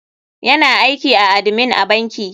Yana aiki a admin a banki.